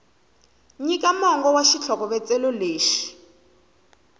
nyika mongo wa xitlhokovetselo lexi